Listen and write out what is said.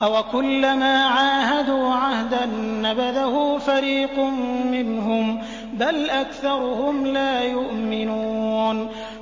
أَوَكُلَّمَا عَاهَدُوا عَهْدًا نَّبَذَهُ فَرِيقٌ مِّنْهُم ۚ بَلْ أَكْثَرُهُمْ لَا يُؤْمِنُونَ